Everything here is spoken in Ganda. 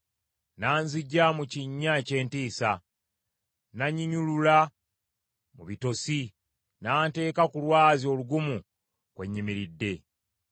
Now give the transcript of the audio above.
n’anziggya mu kinnya eky’entiisa, n’annyinyulula mu bitosi, n’anteeka ku lwazi olugumu kwe nyimiridde.